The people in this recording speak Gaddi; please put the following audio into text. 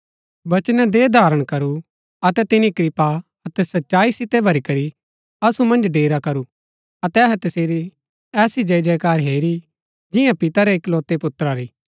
बचनै देहधारण करू अतै तिनी कृपा अतै सच्चाई सितै भरी करी असु मन्ज डेरा करू अतै अहै तसेरी ऐसी जयजयकार हेरी जिंआ पिता रै इकलोतै पुत्रा री